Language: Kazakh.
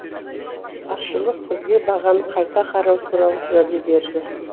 басшылық бізге бағаны қайта қарау туралы уәде берді